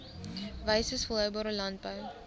wyses volhoubare landbou